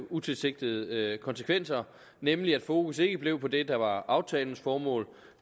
utilsigtede konsekvenser nemlig at fokus ikke blev på det der var aftalens formål